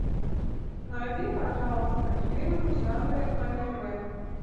найди пожалуйста фильм в жанре аниме